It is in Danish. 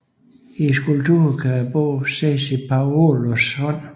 I skulpturen kan bogen ses i Paolos hånd